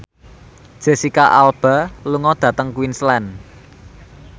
Jesicca Alba lunga dhateng Queensland